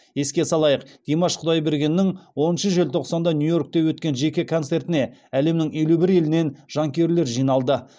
еске салайық димаш құдайбергеннің оныншы желтоқсанда нью йоркте өткен жеке концертіне әлемнің елу бір елінен жанкүйерлер жиналды